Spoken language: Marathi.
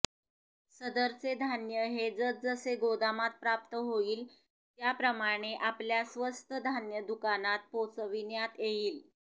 सदरचे धान्य हे जसजसे गोदामात प्राप्त होईल त्या प्रमाणे आपल्या स्वस्त धान्य दुकानात पोचविण्यात येईल